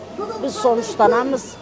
біз соны ұстанамыз